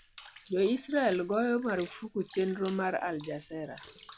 Jo-Israel goyo marfuk chenro mar Al Jazeera